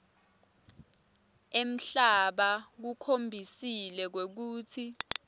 emhlaba kukhombisile kwekutsi